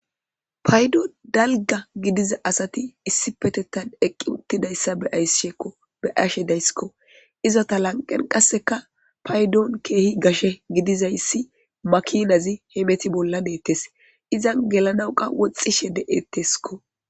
paydo dalga gidiza asati issi petetan eqqi uttidayssa be'ayssishekko be ashe daysskko izota lanqen qasseka paydon keehi gashe gidizayssi makinazi hemeti bolla deettes izan gelanawqa woxxishe de7etteskko